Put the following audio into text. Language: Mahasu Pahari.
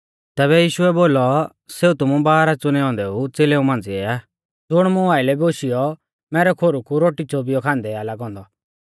तैबै यीशुऐ बोलौ सेऊ तुमु बारह च़ुनै औन्दै च़ेलेउ मांझ़िऐ आ ज़ुण मुं आइलै बोशियौ मैरै खोरु कु रोटी च़ोबिऔ आ खांदै लागौ औन्दौ